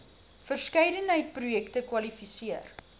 verskeidenheid projekte kwalifiseer